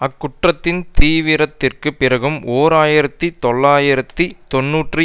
அக்குற்றத்தின் தீவிரத்திற்குப் பிறகும் ஓர் ஆயிரத்தி தொள்ளாயிரத்து தொன்னூற்றி